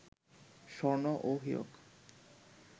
স্বর্ণ ও হীরক